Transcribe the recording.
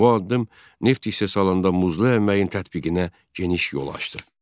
Bu addım neft istehsalında muzlu əməyin tətbiqinə geniş yol açdı.